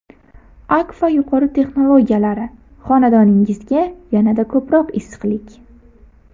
Akfa yuqori texnologiyalari: xonadoningizga yanada ko‘proq issiqlik!.